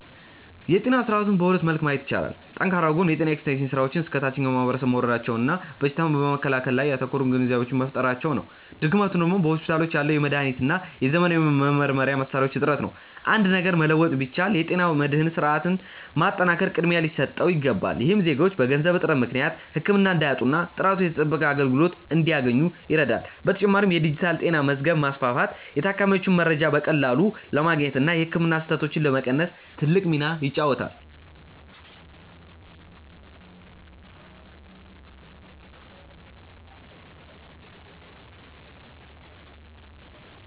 የጤና ስርዓቱን በሁለት መልክ ማየት ይቻላል። ጠንካራው ጎን የጤና ኤክስቴንሽን ስራዎች እስከ ታችኛው ማህበረሰብ መውረዳቸውና በሽታን በመከላከል ላይ ያተኮሩ ግንዛቤዎች መፈጠራቸው ነው። ድክመቱ ደግሞ በሆስፒታሎች ያለው የመድኃኒትና የዘመናዊ መመርመሪያ መሣሪያዎች እጥረት ነው። አንድ ነገር መለወጥ ቢቻል፣ የጤና መድህን ስርዓቱን ማጠናከር ቅድሚያ ሊሰጠው ይገባል። ይህም ዜጎች በገንዘብ እጥረት ምክንያት ህክምና እንዳያጡና ጥራቱ የተጠበቀ አገልግሎት እንዲያገኙ ይረዳል። በተጨማሪም የዲጂታል ጤና መዝገብ ማስፋፋት የታካሚዎችን መረጃ በቀላሉ ለማግኘትና የህክምና ስህተቶችን ለመቀነስ ትልቅ ሚና ይጫወታል።